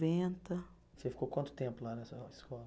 Você ficou quanto tempo lá nessa escola?